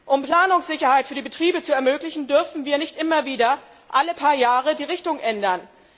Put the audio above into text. Um Planungssicherheit für die Betriebe zu ermöglichen, dürfen wir nicht immer wieder alle paar Jahre die Richtung ändern.